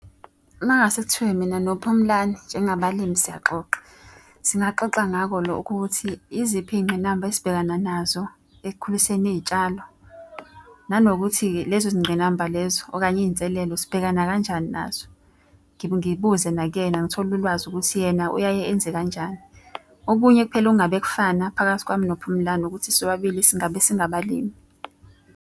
Uma kungase kuthiwa mina noPhumlani njengabalimi siyaxoxa. Singaxoxa ngako lokho ukuthi yiziphi iy'ngqinamba esibhekana nazo ekukhuliseni iy'tshalo. Nanokuthi-ke lezo zingqinamba lezo, okanye iy'nselelo sibhekana kanjani nazo. Ngibuze nakuyena ngithole ulwazi ukuthi yena uyaye enze kanjani. Okunye kuphela engabe kufana phakathi kwami noPhumlani ukuthi sobabili singabalimi.